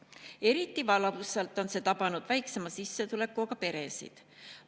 Eriti valusalt on see tabanud väiksema sissetulekuga peresid.